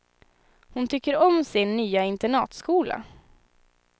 Hon tycker om sin nya internatskola.